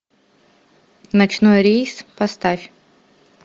ночной рейс поставь